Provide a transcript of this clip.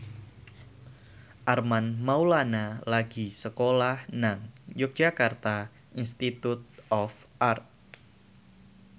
Armand Maulana lagi sekolah nang Yogyakarta Institute of Art